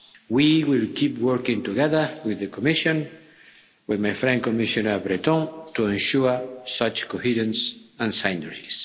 We will keep working together with the Commission, with my friend Commissioner Breton, to ensure such coherence and synergies.